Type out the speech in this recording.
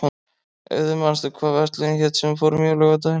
Auður, manstu hvað verslunin hét sem við fórum í á laugardaginn?